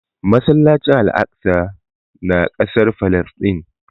Masallacin Al'aqsa ya na kasar Falasɗin